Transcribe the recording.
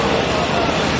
Quraşdırılıb.